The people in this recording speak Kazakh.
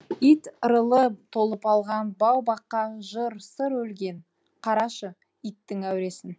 ит ырылы толып алған бау баққа жыр сыр өлген қарашы иттің әуресін